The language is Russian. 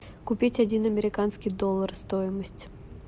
купить один американский доллар стоимость